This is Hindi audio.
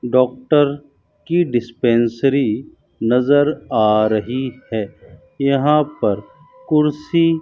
डॉक्टर की डिस्पेंसरी नजर आ रही है यहां पर कुर्सी --